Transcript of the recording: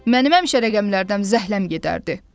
Mənim həmişə rəqəmlərdən zəhləm gedərdi.